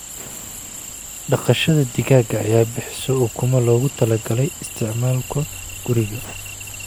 Dhaqashada digaaga ayaa bixisa ukumo loogu talagalay isticmaalka guriga.